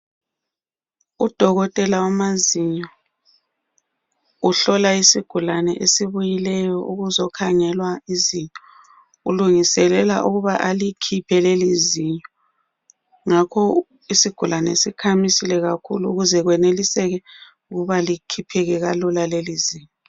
Udokotela wamazinyo uhlola isigulane esibuyileyo ukuzokhangelwa izinyo. Ulungiselela ukuba alikhiphe lelizinyo ngakho isigulane sikhamisile kakhulu ukuze kweneliseke ukuba likhipheke kalula lelizinyo.